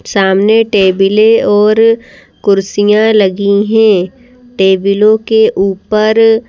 सामने टेबलें और कुर्सियां लगी हैं टेबलों के ऊपर--